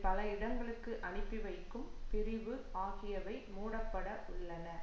பல இடங்களுக்கு அனுப்பிவைக்கும் பிரிவு ஆகியவை மூடப்பட உள்ளன